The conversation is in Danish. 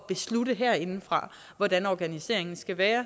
beslutte herindefra hvordan organiseringen skal være